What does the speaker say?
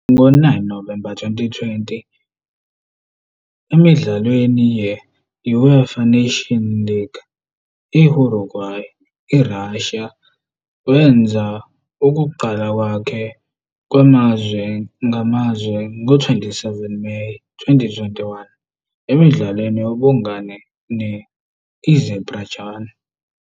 Ngo-9 November 2020, emidlalweni ye-I-UEFA Nations League ne-I-Hungary IRussia. Wenza ukuqala kwakhe kwamazwe ngamazwe ngo-27 Meyi 2021, emdlalweni wobungane ne-I-Azerbaijan.